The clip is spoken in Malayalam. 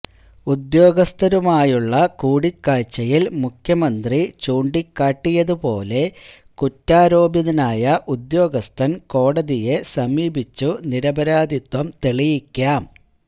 ഉദ്യോഗസ്ഥരുമായുള്ള കൂടിക്കാഴ്ചയില് മുഖ്യമന്ത്രി ചൂണ്ടിക്കാട്ടിയത് പോലെ കുറ്റാരോപിതനായ ഉദ്യോഗസ്ഥന് കോടതിയെ സമീപിച്ചു നിരപരാധിത്വം തെളിയിക്കാം